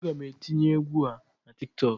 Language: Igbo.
Aga m etinye egwu a na Tik tọk.